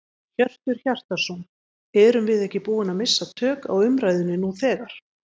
Hjörtur Hjartarson: Erum við ekki búin að missa tök á umræðunni nú þegar?